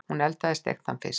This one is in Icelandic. Hún eldaði steiktan fisk.